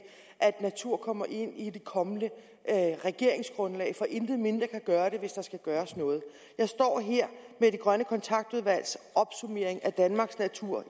natur kommer ind i det kommende regeringsgrundlag for intet mindre kan gøre det hvis der skal gøres noget jeg står her med det grønne kontaktudvalgs opsummering af danmarks natur